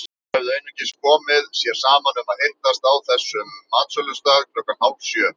Þeir höfðu einungis komið sér saman um að hittast á þessum matsölustað klukkan hálfsjö.